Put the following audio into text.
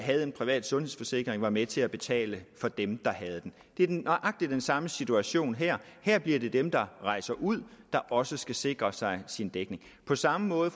havde en privat sundhedsforsikring var med til at betale for dem der havde den det er nøjagtig den samme situation her her bliver det dem der rejser ud der også skal sikre sig dækning på samme måde